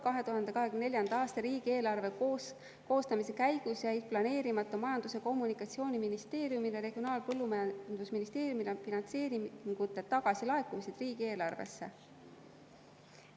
2024. aasta riigieelarve koostamise käigus jäid planeerimata Majandus‑ ja Kommunikatsiooniministeeriumile ja Regionaal‑ ja Põllumajandusministeeriumile antud finantseeringute tagasilaekumised riigieelarvesse.